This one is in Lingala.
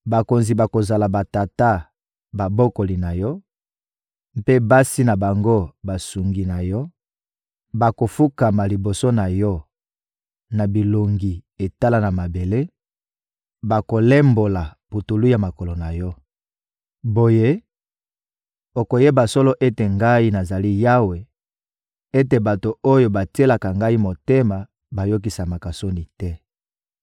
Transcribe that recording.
Bakonzi bakozala batata babokoli na yo, mpe basi na bango, basungi na yo; bakofukama liboso na yo na bilongi etala na mabele, bakolembola putulu ya makolo na yo. Boye, okoyeba solo ete Ngai, nazali Yawe; ete bato oyo batielaka Ngai motema bayokisamaka soni te.»